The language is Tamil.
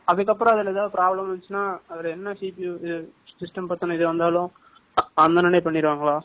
அதுக்கப்புறம், அதுல ஏதாவது problem இருந்துச்சுன்னா, அதுல என்ன CP system பத்தின இது வந்தாலும், அந்த உடனே பண்ணிடுவாங்களா?